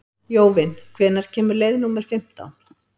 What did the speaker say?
Jóvin, hvenær kemur leið númer fimmtán?